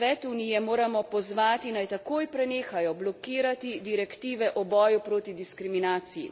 Svet Unije moramo pozvati, naj takoj prenehajo blokirati direktive o boju proti diskriminaciji.